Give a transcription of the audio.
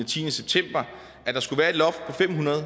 tiende september at der skulle være et loft på fem hundrede og